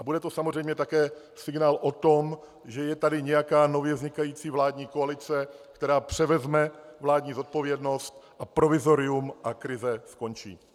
A bude to samozřejmě také signál o tom, že je tady nějaká nově vznikající vládní koalice, která převezme vládní zodpovědnost, a provizorium a krize skončí.